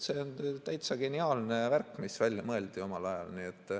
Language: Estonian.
See on täitsa geniaalne värk, mis omal ajal välja mõeldi.